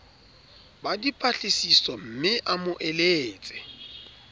ba dipatlisisomme a mo eletse